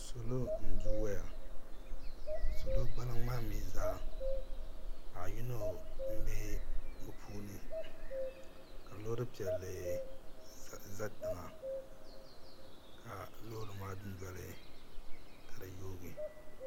Salo n du wɛya salo gbaliŋ maa mi zaa paɣa yino n bɛ bi puuni ka loori piɛlli za tiŋa ka loori maa du noli ka di yoogi.